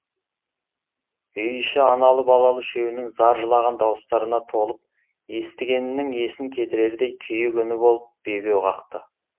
үй іші аналы балалы үшеуінің зар жылаған дауыстарына толып естігеннің есін кетірердей күйік үні болып бебеу қақты